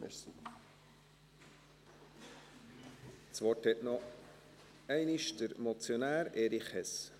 Das Wort hat noch einmal der Motionär, Erich Hess.